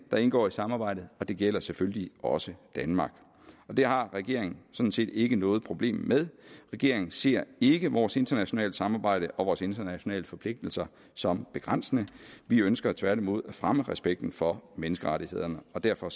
der indgår i samarbejdet og det gælder selvfølgelig også danmark det har regeringen sådan set ikke noget problem med regeringen ser ikke vores internationale samarbejde og vores internationale forpligtelser som begrænsende vi ønsker tværtimod at fremme respekten for menneskerettighederne derfor